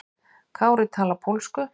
Kári talar pólsku.